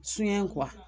Sunyɛn